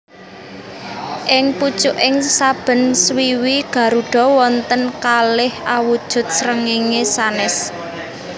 Ing pucuking saben swiwi garuda wonten kalih awujud srengéngé sanès